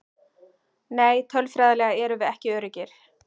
Nei tölfræðilega erum við ekki öruggir.